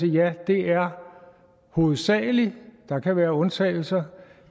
ja det er hovedsagelig det der kan være undtagelser